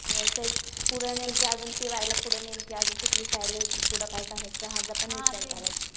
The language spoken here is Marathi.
हो तेच. पुढं नेमकी अजून टि वायला कुठं नेमकी कुठली साईड घ्यायची. काय करायचं ह्याचा पण विचार करायचाय.